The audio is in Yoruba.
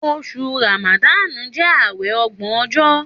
Òsú ràmàdànú jẹ àwẹ ògbo ọjọ.